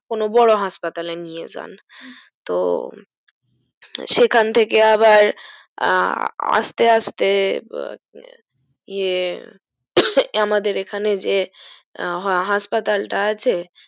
কোনো বড়ো হাসপাতালে নিয়ে যান তো সেখান থেকে আবার আহ আস্তে আস্তে ব এ আমাদের এখানে যে হাসপাতালটা আছে